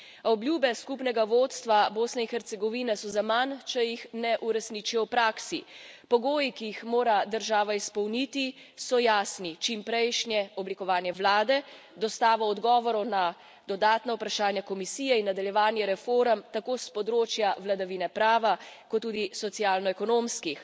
Obljube skupnega vodstva Bosne in Hercegovine so zaman, če jih ne uresničijo v praksi. Pogoji, ki jih mora država izpolniti, so jasni čimprejšnje oblikovanje vlade, dostava odgovorov na dodatna vprašanja Komisije in nadaljevanje reform, tako s področja vladavine prava, kot tudi socialno ekonomskih.